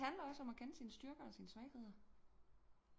Det handler også om at kende sine styrker og svagheder